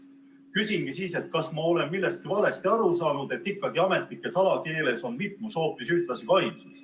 Küsingi siis, kas ma olen millestki valesti aru saanud, et ikkagi ametnike salakeeles on mitmus hoopis ühtlasi ka ainsus.